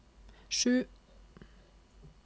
sju